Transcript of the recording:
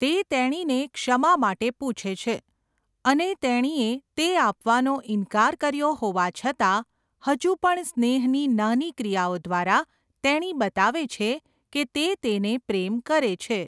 તે તેણીને ક્ષમા માટે પૂછે છે અને તેણીએ તે આપવાનો ઇનકાર કર્યો હોવા છતાં, હજુ પણ સ્નેહની નાની ક્રિયાઓ દ્વારા તેણી બતાવે છે કે તે તેને પ્રેમ કરે છે.